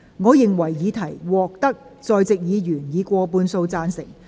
我認為議題獲得在席議員以過半數贊成。